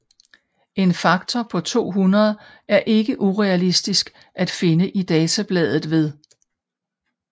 En faktor på 200 er ikke urealistisk at finde i databladet ved